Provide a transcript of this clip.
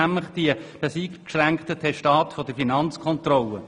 Es geht um das eingeschränkte Testat der Finanzkontrolle.